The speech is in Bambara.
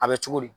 A bɛ cogo di